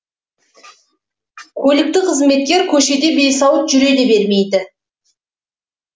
көлікті қызметкер көшеде бейсауыт жүре де бермейді